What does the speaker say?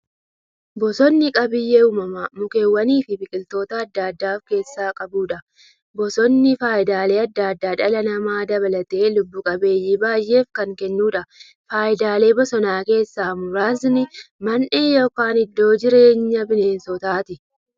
Bosonni qabeenya uumamaa mukkeewwaniifi biqiltoota adda addaa of keessaa qabudha. Bosonni faayidaalee adda addaa dhala namaa dabalatee lubbuu qabeeyyii baay'eef kan kennuudha. Faayidaalee bosonaa keessaa muraasni; Mandhee yookin iddoo jireenya bineensotaati.